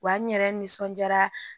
Wa n yɛrɛ nisɔndiyara